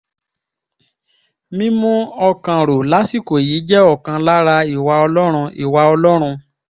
mímú ọkàn rò lásìkò yìí jẹ́ ọ̀kan lára ìwà ọlọ́run ìwà ọlọ́run